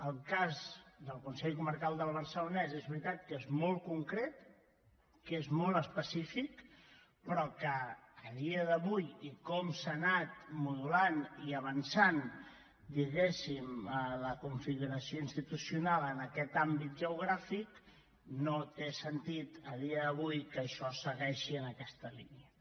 el cas del consell comarcal del barcelonès és veritat que és molt concret que és molt específic però a dia d’avui i com s’ha anat modulant i ha anat avançant diguem ne la configuració institucional en aquest àmbit geogràfic no té sentit que això segueixi en aquesta línia